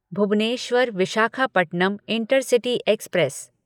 Bhubaneswar Visakhapatnam intercity express